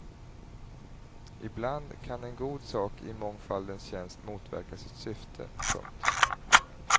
Ibland kan en god sak i mångfaldens tjänst motverka sitt syfte. punkt